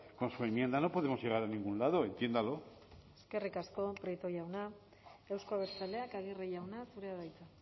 con su enmienda no podemos llegar a ningún lado entiéndalo eskerrik asko prieto jauna euzko abertzaleak aguirre jauna zurea da hitza